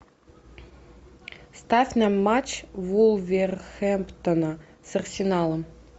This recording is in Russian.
ставь нам матч вулверхэмптона с арсеналом